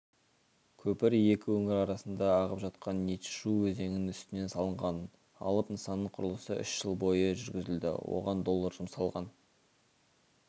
көпір екі өңір арасында ағып жатқан ничжу өзенінің үстінен салынған алып нысанның құрылысы үш жыл бойы жүргізілді оған доллар жұмсалған